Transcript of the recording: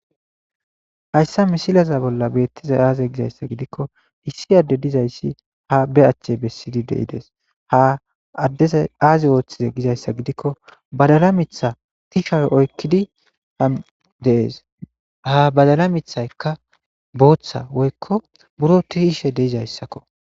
Hayssa misileza bolla beettizay aaze giikko issi adde dayssi haa be ache ha addezi aazi oothize gizayssa gidikko badala mitha tisha oykkidi dees.ha badala mithaykka bootha woykko buro tiyishe dizayssako.